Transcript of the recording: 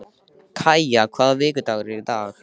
Kaja, hvaða vikudagur er í dag?